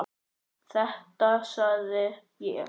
Þetta sagði ég.